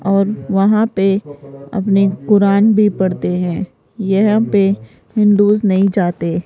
और वहां पे अपने कुरान भी पढ़ते हैं यहां पे हिंदूज नहीं जाते --